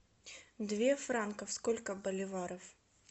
две франков сколько боливаров